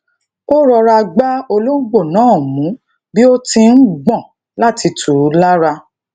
ó rọra gbá olóngbò náà mú bi o ti n gbon lati tu u lara